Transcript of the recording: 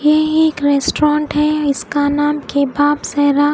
ये एक रेस्टोरेंट है इसका नाम केपाप सेरा--